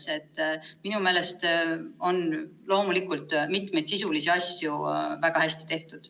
Nii et minu meelest on loomulikult mitmeid sisulisi asju väga hästi tehtud.